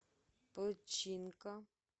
починка